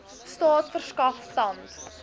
staat verskaf tand